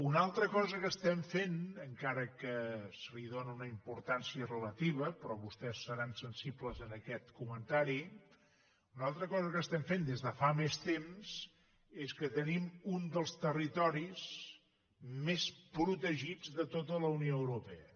una altra cosa que estem fent encara que se li doni una importància relativa però vostès seran sensibles a aquest comentari des de fa més temps és que tenim un dels territoris més protegits de tota la unió europea